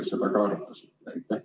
Kas te seda ka arutasite?